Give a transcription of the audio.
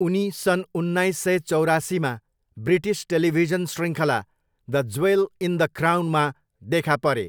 उनी सन् उन्नाइस सय चौरासीमा ब्रिटिस टेलिभिजन शृङ्खला द ज्वेल इन द क्राउनमा देखा परे।